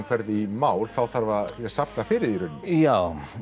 ferð í mál þá þarf að safna fyrir því í rauninni já